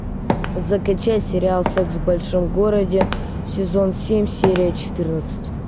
закачай сериал секс в большом городе сезон семь серия четырнадцать